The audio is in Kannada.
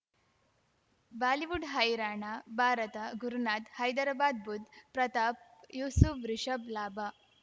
ಬಾಲಿವುಡ್ ಹೈರಾಣ ಭಾರತ ಗುರುನಾಥ್ ಹೈದ್ರಾಬಾದ್ ಬುಧ್ ಪ್ರತಾಪ್ ಯೂಸುಫ್ ರಿಷಬ್ ಲಾಭ